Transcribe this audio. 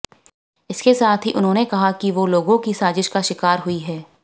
इसके साथ ही उन्होंने कहा कि वो लोगों की साजिश का शिकार हुई है